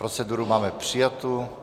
Proceduru máme přijatou.